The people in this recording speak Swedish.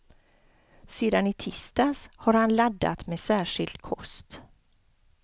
Sedan i tisdags har han laddat med särskild kost.